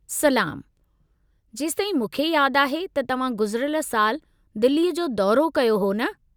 सलामु, जेसताईं मूंखे यादि आहे त तव्हां गुज़िरियल साल दिल्लीअ जो दौरो कयो हो न?